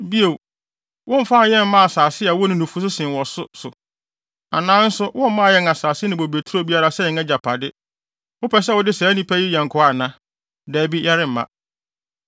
Bio, womfaa yɛn mmaa asase a ɛwo ne nufusu sen wɔ so so anaa nso wommaa yɛn asase ne bobeturo biara sɛ yɛn agyapade. Wopɛ sɛ wode saa nnipa yi yɛ nkoa ana? Dabi, yɛremma.”